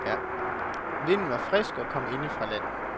Vinden var frisk og kom inde fra land.